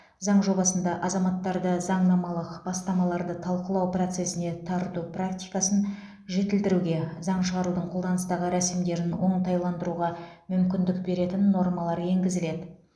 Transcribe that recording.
заң жобасында азаматтарды заңнамалық бастамаларды талқылау процесіне тарту практикасын жетілдіруге заң шығарудың қолданыстағы рәсімдерін оңтайландыруға мүмкіндік беретін нормалар енгізіледі